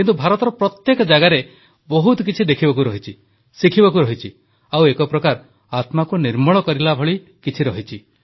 କିନ୍ତୁ ଭାରତର ପ୍ରତ୍ୟେକ ଜାଗାରେ ବହୁତ କିଛି ଦେଖିବାକୁ ରହିଛି ଶିଖିବାକୁ ରହିଛି ଆଉ ଏକ ପ୍ରକାର ଆତ୍ମାକୁ ନିର୍ମଳ କରିବା ଭଳି ରହିଛି